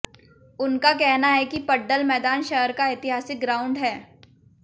उनका कहना है कि पड्डल मैदान शहर का ऐतिहासिक ग्राउंड है